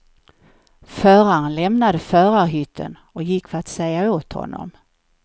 Föraren lämnade förarhytten och gick för att säga åt honom.